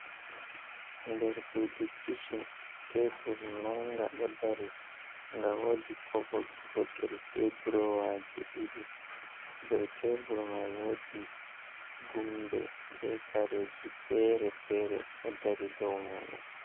Der suudu kicin tebul mannga ɗo dari, nga woodi kovod gootel, be duroowaji ɗiɗi dow tebul may. Woodi gumbe be kareeji fere fere, ɗo dari dow muuɗum.